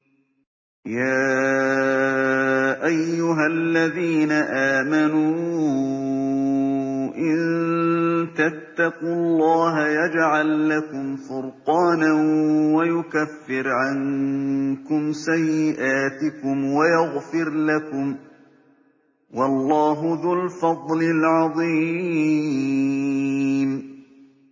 يَا أَيُّهَا الَّذِينَ آمَنُوا إِن تَتَّقُوا اللَّهَ يَجْعَل لَّكُمْ فُرْقَانًا وَيُكَفِّرْ عَنكُمْ سَيِّئَاتِكُمْ وَيَغْفِرْ لَكُمْ ۗ وَاللَّهُ ذُو الْفَضْلِ الْعَظِيمِ